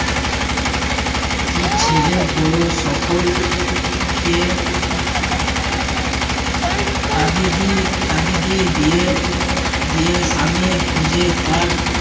যে ছেলে বড় সকলকে তাগিদ দি~তাগিদ দিয়ে দিয়ে দিয়ে স্বামীর খোঁজে তার